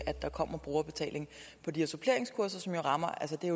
der kommer brugerbetaling på de her suppleringskurser som jo rammer